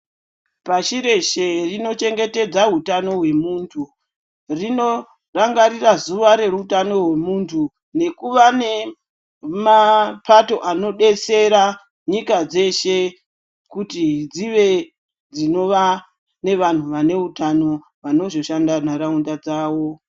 Pashi reshe rinochengetedza hutano hwemuntu rinorangarira zuva reutano hwemuntu nekuva nemapato anodetsera nyika dzese kuti dzinova nevanhu vaneutano vanozoshanda nharaunda dzavo.